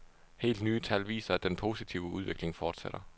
Helt nye tal viser, at den positive udvikling fortsætter.